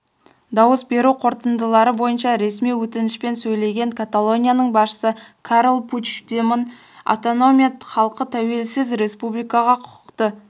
дауыс беру қорытындылары бойынша ресми өтінішпен сөйлеген каталонияның басшысы карл пучдемон автономия халқы тәуелсіз республикаға құқықты